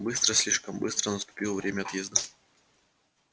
быстро слишком быстро наступило время отъезда